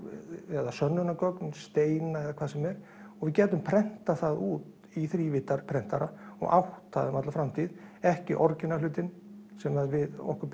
eða sönnunargögn steina eða hvað sem er og við gætum prentað það út í þrívíddarprentara og átt það um alla framtíð ekki orginal hlutinn sem okkur